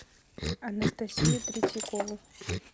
анастасию третьякову